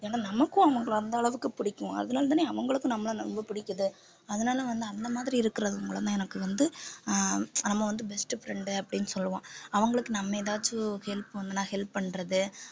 ஏன்னா நமக்கும் அவங்களை அந்த அளவுக்கு பிடிக்கும் அதனாலேதானே அவங்களுக்கும் நம்மளை ரொம்ப பிடிக்குது அதனால வந்து அந்த மாதிரி இருக்கிறது மூலமா எனக்கு வந்து ஆஹ் நம்ம வந்து best friend அப்படின்னு சொல்லுவோம் அவங்களுக்கு நம்ம ஏதாச்சும் help வேணுன்னா help பண்றது